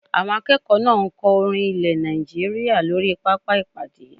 Àwọn akẹ́kọ̀ọ́ náà ń kọ orin ilẹ̀ Nàìjíríyà lórí pápá ìpàdé